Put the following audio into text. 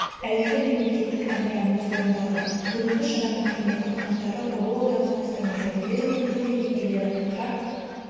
әуелі мемлекеттік әнұранымыз орындалды бүгінгі шараның құрметті қонақтары ұлы отан соғысының ардагерлері мен тыл еңбеккерлері қарт